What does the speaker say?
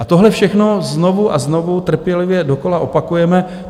A tohle všechno znovu a znovu trpělivě dokola opakujeme.